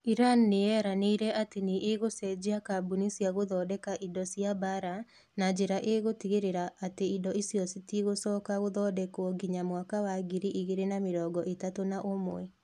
Iran nĩ yeranĩire atĩ nĩ ĩgũcenjia kambuni cia gũthondeka indo cia mbaara na njĩra ĩgũtigĩrĩra atĩ indĩo icio citigũcoka gũthondekwo nginya mwaka wa ngiri igĩrĩ na mĩrongo ĩtatũ na ũmwe.